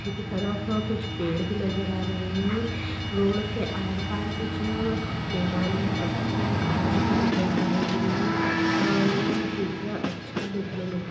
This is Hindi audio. ठी के तरफ पेड़ भी नजर आ रहे है रोड के आर पार कुछ अ मैदान मे पत्थर और घास भी नजर आ रही है अ यह चित्र अच्छा देखने मे लग रहा--